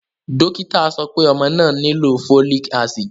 Dokita sọ pe ọmọ naa nilo folic acid